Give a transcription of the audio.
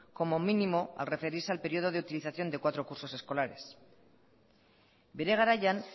como mínimo al referirse al periodo de utilización de cuatro cursos escolares bere garaian